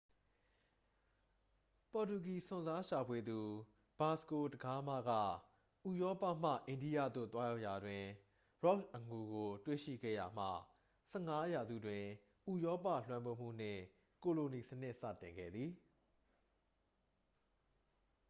ပေါ်တူဂီ စွန့်စားရှာဖွေသူ ဗာစကို ဒဂါးမား က ဥရောပမှ အိန္ဒိယသို့ သွားရောက်ရာတွင် ရောက်တ် အငူကို တွေ့ရှိခဲ့ရာမှ 15 ရာစုတွင် ဥရောပ လွှမ်းမိုးမှုနှင့် ကိုလိုနီစနစ် စတင်ခဲ့သည်